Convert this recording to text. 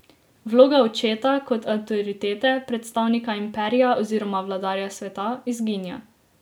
Vloga očeta, kot avtoritete, predstavnika imperija oziroma vladarja sveta, izginja.